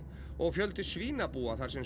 og fjöldi svínabúa þar sem